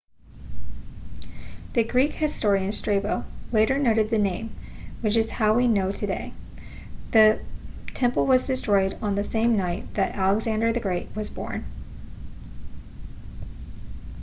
the greek historian strabo later noted the name which is how we know today the temple was destroyed on the same night that alexander the great was born